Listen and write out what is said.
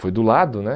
Foi do lado, né?